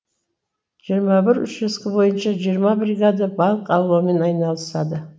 жиырма бір учаске бойынша жиырма бригада балық аулаумен айналысады